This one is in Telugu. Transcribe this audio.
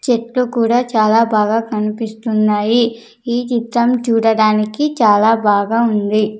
చెట్టు కూడా చాలా బాగా కన్పిస్తున్నాయి ఈ చిత్రం చూడడానికి చాలా బాగా ఉంది.